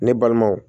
Ne balimanw